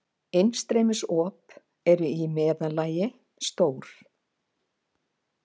Innstreymisop eru í meðallagi stór.